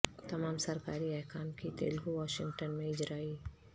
تمام سرکاری احکام کی تلگو و انگلش میں اجرائی